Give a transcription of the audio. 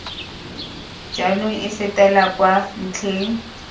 jaanong e fetela kwa ntlheng